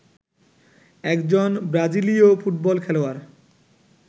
একজন ব্রাজিলীয় ফুটবল খেলোয়াড়